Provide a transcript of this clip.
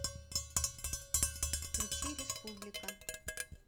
включи республика